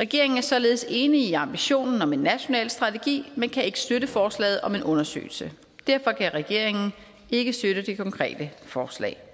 regeringen er således enig i ambitionen om en national strategi men kan ikke støtte forslaget om en undersøgelse derfor kan regeringen ikke støtte det konkrete forslag